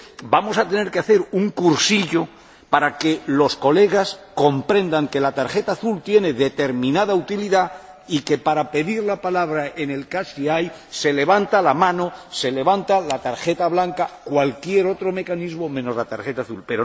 Vamos a tener que hacer un cursillo para que los diputados comprendan que la tarjeta azul tiene determinada utilidad y que, para pedir la palabra en el catch the eye, se levanta la mano, se levanta la tarjeta blanca o se utiliza cualquier otro mecanismo, menos la tarjeta azul.